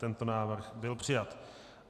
Tento návrh byl přijat.